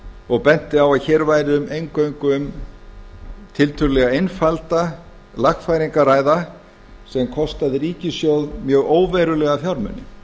og benti á að hér væri um eingöngu tiltölulega einfalda lagfæringu að ræða sem kostaði ríkissjóð mjög óverulega fjármuni